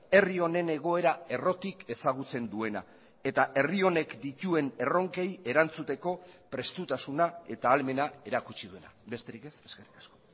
herri honen egoera errotik ezagutzen duena eta herri honek dituen erronkei erantzuteko prestutasuna eta ahalmena erakutsi duena besterik ez eskerrik asko